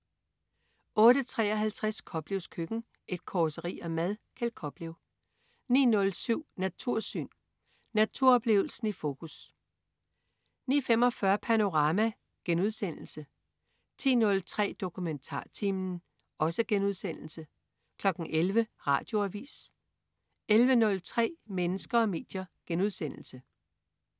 08.53 Koplevs køkken. Et causeri om mad. Kjeld Koplev 09.07 Natursyn. Naturoplevelsen i fokus 09.45 Panorama* 10.03 DokumentarTimen* 11.00 Radioavis 11.03 Mennesker og medier*